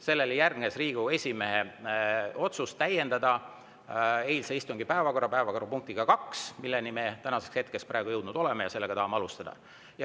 Sellele järgnes Riigikogu esimehe otsus täiendada eilse istungi päevakorda päevakorrapunktiga nr 2, milleni me praegu oleme jõudnud ja mille tahame alustada.